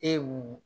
E wee